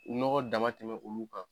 Nɔgɔ dama tɛmɛ olu kan